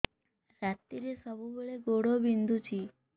ରାତିରେ ସବୁବେଳେ ଗୋଡ ବିନ୍ଧୁଛି